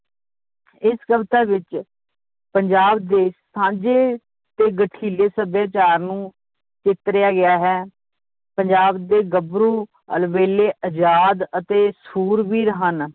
ਇਸ ਕਵਿਤਾ ਵਿਚ ਪੰਜਾਬ ਦੇ ਸਾਂਝੇ ਤੇ ਗਠੀਲੇ ਸਭਿਆਚਾਰ ਨੂੰ ਚਿਤਰਿਆ ਗਿਆ ਹੈ ਪੰਜਾਬ ਦੇ ਗੱਭਰੂ ਅਲਬੇਲੇ ਅਜਾਦ ਅਤੇ ਸ਼ੁਰਵੀਰ ਹਨ